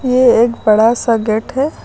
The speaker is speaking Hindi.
ये एक बड़ा सा गेट है।